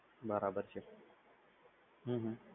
બરાબર છે હમ